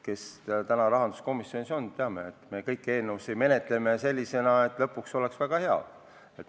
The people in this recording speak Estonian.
Kes rahanduskomisjonis on, need teavad, et me kõiki eelnõusid menetleme nii, et lõpuks oleksid need väga head.